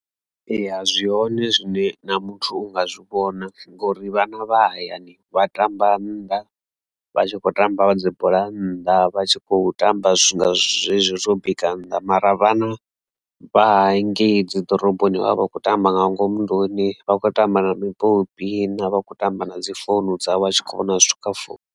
Eya zwi hoṋe zwine na muthu unga zwi vhona ngori vhana vha hayani vha tamba nnḓa vha tshi khou tamba vha dzibola nnḓa vha tshi khou tamba zwi nga zwo zwezwo bika nnḓa, mara vhana vha henengei dzi ḓoroboni vha vha vha kho tamba nga ngomu nḓuni vha tshi khou tamba na mipopi na vha tshi kho tamba na dzi founu dzavho vha tshi kho vhona zwithu kha founu.